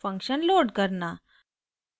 * function load करना